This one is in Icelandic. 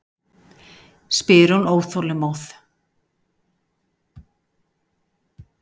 spyr hún óþolinmóð.